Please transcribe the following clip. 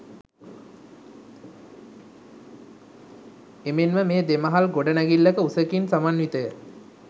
එමෙන්ම මෙය දෙමහල් ගොඩනැඟිල්ලක උසකින් සමන්විතය